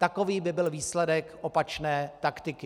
Takový by byl výsledek opačné taktiky.